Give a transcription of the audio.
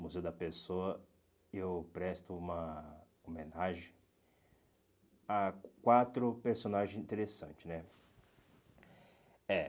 Museu da Pessoa, eu presto uma homenagem a quatro personagens interessante né. É